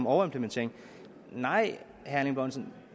overimplementering nej